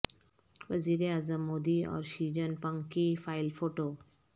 ووزیر اعظم مودی اور Xi Jinping کی فائل فوٹو